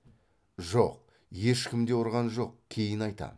жоқ ешкім де ұрған жоқ кейін айтам